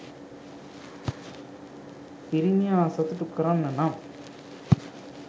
පිරිමියා සතුටු කරන්න නම්